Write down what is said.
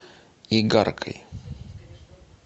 игаркой